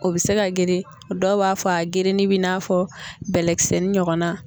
O bɛ se ka geren dɔw b'a fɔ a gereni b'i n'a fɔ bɛlɛkisɛnin ɲɔgɔnna.